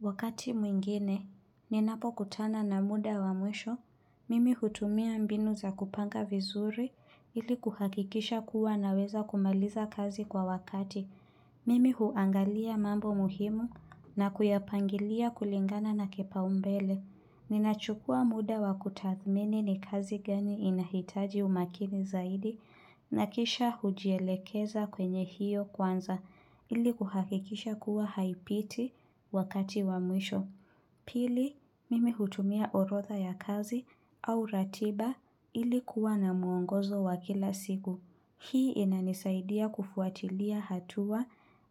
Wakati mwingine, ninapokutana na muda wa mwisho, mimi hutumia mbinu za kupanga vizuri ili kuhakikisha kuwa naweza kumaliza kazi kwa wakati. Mimi huangalia mambo muhimu na kuyapangilia kulingana na kipaumbele. Ninachukua muda wa kutathmini ni kazi gani inahitaji umakini zaidi na kisha hujielekeza kwenye hiyo kwanza ili kuhakikisha kuwa haipiti wakati wa mwisho. Pili, mimi hutumia orodha ya kazi au ratiba ili kuwa na muongozo wa kila siku. Hii inanisaidia kufuatilia hatua